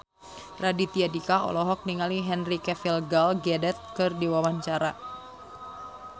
Raditya Dika olohok ningali Henry Cavill Gal Gadot keur diwawancara